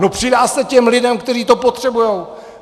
No, přidá se těm lidem, kteří to potřebují.